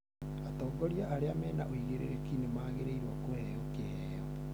Atongoria arĩa mena ũigĩrĩrki nĩ magĩrĩirũo kũheo kĩheo